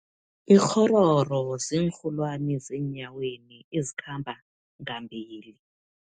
Ikghororo, ziinrholwani zeenyaweni ezikhamba ngambili.